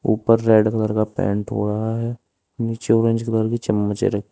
ऊपर red colour का paint हो रहा है नीचे ऑरेंज कलर की चमच्चे--